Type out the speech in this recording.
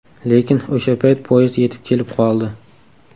Lekin o‘sha payt poyezd yetib kelib qoldi.